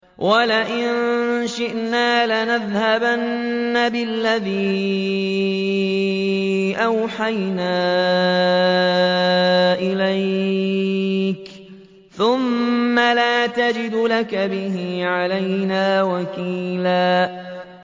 وَلَئِن شِئْنَا لَنَذْهَبَنَّ بِالَّذِي أَوْحَيْنَا إِلَيْكَ ثُمَّ لَا تَجِدُ لَكَ بِهِ عَلَيْنَا وَكِيلًا